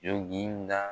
Joginda